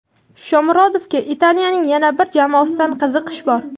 Shomurodovga Italiyaning yana bir jamoasidan qiziqish bor.